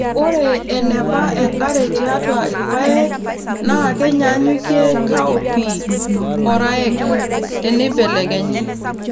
ORE eneba enkare tiatua irpaek naa kenyaanyukie cowpea -oraek teneibelekenyi